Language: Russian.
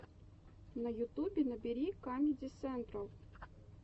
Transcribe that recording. на ютубе набери камеди сентрал